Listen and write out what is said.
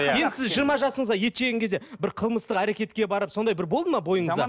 енді сіз жиырма жасыңызда ет жеген кезде бір қылмыстық әрекетке барып сондай бір болды ма бойыңызда